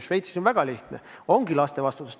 Šveitsis on väga lihtne: ongi laste vastutus.